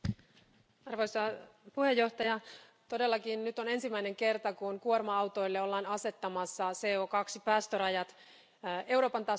Arvoisa puhemies, todellakin nyt on ensimmäinen kerta, kun kuorma autoille ollaan asettamassa CO2 päästörajat Euroopan tasolla.